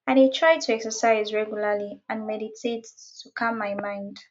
i dey try to exercise regularly and meditate to calm my mind